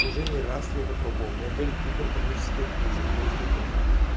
уже не раз я это пробовал у меня были гипертонические кризы после мефа